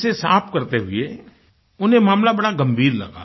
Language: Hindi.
इसे साफ़ करते हुए उन्हें मामला बड़ा गंभीर लगा